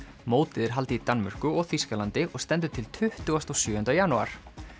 mótið er haldið í Danmörku og Þýskalandi og stendur til tuttugu og sjö janúar